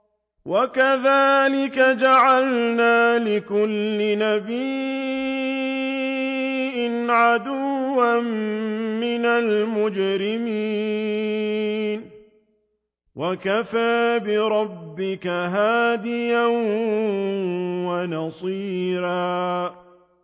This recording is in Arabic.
وَكَذَٰلِكَ جَعَلْنَا لِكُلِّ نَبِيٍّ عَدُوًّا مِّنَ الْمُجْرِمِينَ ۗ وَكَفَىٰ بِرَبِّكَ هَادِيًا وَنَصِيرًا